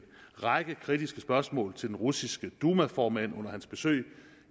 række kritiske spørgsmål til den russiske duma formand under hans besøg